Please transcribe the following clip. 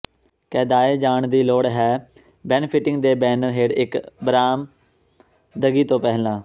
ਕੈਦਾਏ ਜਾਣ ਦੀ ਲੋੜ ਹੈ ਬੈਨਿਫ਼ਿਟਿੰਗ ਦੇ ਬੈਨਰ ਹੇਠ ਇਕ ਬਰਾਮਦਗੀ ਤੋਂ ਪਹਿਲਾਂ